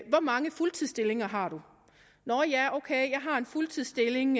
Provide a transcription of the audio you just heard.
hvor mange fuldtidsstillinger har du nå ja ok jeg har en fuldtidsstilling